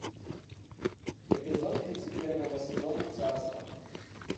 эпизод тридцать первого сезона царство